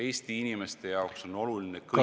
Eesti inimeste jaoks on praegu märksa olulisem ...